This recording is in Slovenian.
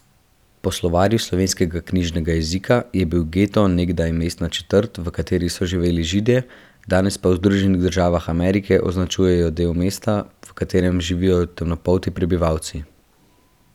Po Slovarju slovenskega knjižnega jezika je bil geto nekdaj mestna četrt, v kateri so živeli Židje, danes pa v Združenih državah Amerike označuje del mesta, v katerem živijo temnopolti prebivalci.